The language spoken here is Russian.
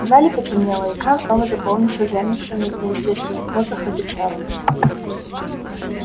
в зале потемнело и экран снова заполнился замершими в неестественных позах офицерами